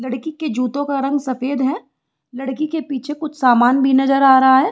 लड़की के जूतों का रंग सफेद हैं लड़की के पीछे कुछ सामान भी नजर आ रहा है।